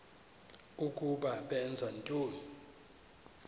ukuba benza ntoni